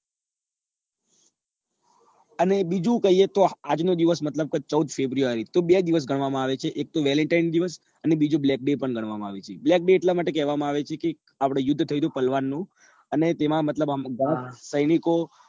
અને બીજું કહીએ કે આજ નો દિવસ તો ચૌદ february તો બે દિવસ ગણવા માં આવે છે એક તો valentine દિવસ અને બીજો blackday ગણવા માં પણ આવે છે black day એટલા માટે કેવા માં આવે છે કે આપડે યુદ્ધ થયું હતું પાલવન નું અને તેમાં મતલબ પાંચ સૈનિકો